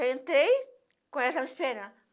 entrei, quando eles estavam esperando.